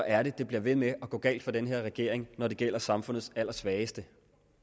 er at det bliver ved med at gå galt for den her regering når det gælder samfundets allersvageste